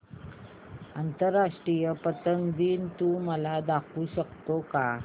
आंतरराष्ट्रीय पतंग दिन तू मला दाखवू शकतो का